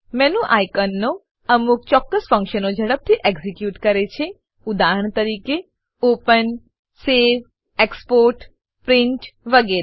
menu આઇકોનો અમુક ચોક્કસ ફંક્શનો ઝડપથી એક્ઝીક્યુટ કરે છે ઉદાહરણ તરીકે ઓપન સવે એક્સપોર્ટ પ્રિન્ટ વગેરે